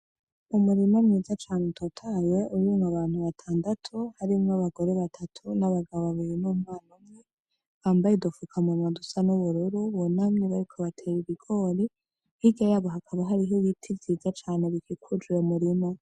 Umurima mwiza cane utotahaye urimwo abantu batandatu harimwo abagore batatu n'abagabo babiri n'umwana umwe bambaye udufukamunwa dusa n'ubururu bunamye bariko batera ibigori hirya yabo hakaba hari ibiti vyiza cane bikikuje umurima .